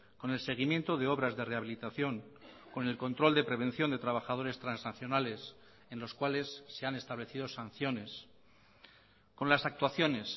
con el seguimiento de obras de rehabilitación con el control de prevención de trabajadores transaccionales en los cuales se han establecido sanciones con las actuaciones